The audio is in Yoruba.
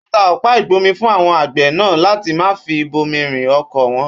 Ó ta ọ̀pá-ìgbómi fún àwon àgbẹ̀ nàá láti maa fi bomirin oko won.